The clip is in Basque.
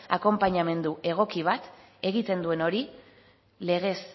akonpainamendu egoki bat egiten duen hori legez